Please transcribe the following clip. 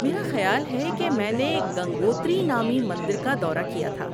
میرا خیال ہے کہ میں نے گنگوتری نامی مندر کا دورہ کیا تھا۔